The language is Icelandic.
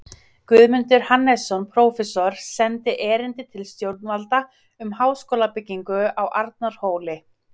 Guðmundur Hannesson, prófessor, sendi erindi til stjórnvalda um háskólabyggingu á Arnarhóli.